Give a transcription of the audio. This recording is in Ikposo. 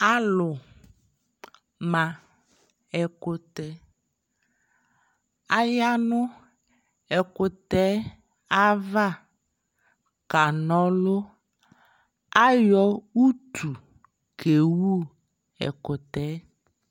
alʋ ma ɛkʋtɛ, ayanʋ ɛkʋtɛ aɣa ka aka nɔlʋ, ayɔ ʋtʋ kɛwʋ ɛkʋtɛɛ